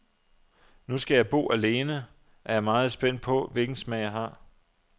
Nu jeg skal bo alene, er jeg meget spændt på, hvilken smag jeg har.